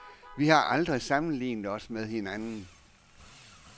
Vi har aldrig sammenlignet os med hinanden.